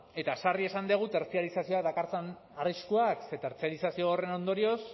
eta sarri esan dugu tertziarizazioak dakartzan arriskua ze tertziarizazio horren ondorioz